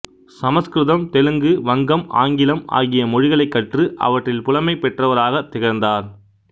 சமசுகிருதம் தெலுங்கு வங்கம் ஆங்கிலம் ஆகிய மொழிகளைக் கற்று அவற்றில் புலமை பெற்றவராகத் திகழ்ந்தார்